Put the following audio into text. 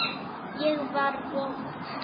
Ég var vond.